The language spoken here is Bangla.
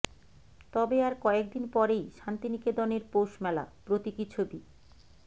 তবে আর কয়েকদিন পরেই শান্তিনিকেতনের পৌষমেলা প্রতীকী ছবি